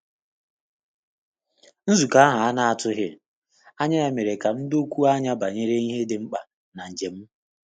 Nzukọ ahụ a na-atụghị anya ya mere ka m dokwuo anya banyere ihe dị mkpa na njem m.